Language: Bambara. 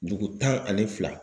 Dugu tan ani fila.